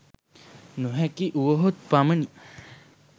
නොහැකි වුවහොත් පමණි